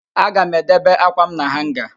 Aga m edebe ákwàm na hanga